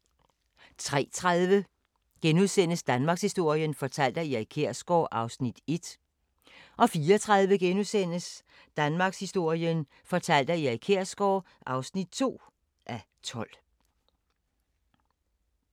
03:30: Danmarkshistorien fortalt af Erik Kjersgaard (1:12)* 04:30: Danmarkshistorien fortalt af Erik Kjersgaard (2:12)*